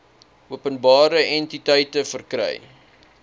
openbare entiteite verkry